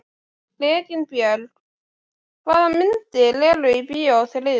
Reginbjörg, hvaða myndir eru í bíó á þriðjudaginn?